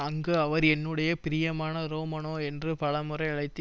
அங்கு அவர் என்னுடைய பிரியமான ரோமனோ என்று பலமுறை அழைத்து